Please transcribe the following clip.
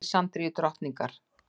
og Alexandrínu drottningar.